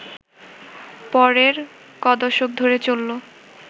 পরের ক’দশক ধরে চলল